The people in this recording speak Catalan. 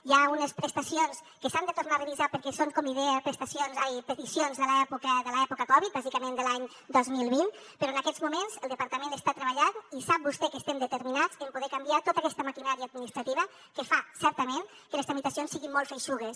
hi ha unes prestacions que s’han de tornar a revisar perquè són com li deia peticions de l’època covid bàsicament de l’any dos mil vint però en aquests moments el departament està treballant i sap vostè que estem determinats en poder canviar tota aquesta maquinària administrativa que fa certament que les tramitacions siguin molt feixugues